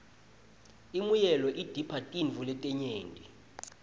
imuelo idipha tirtfo letinyenti